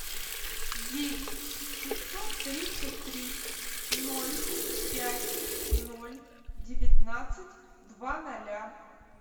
девять пятьсот тридцать три ноль пять ноль девятнадцать два ноля